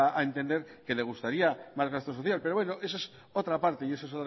ha dado a entender que le gustaría más gasto social pero bueno eso es otra parte y eso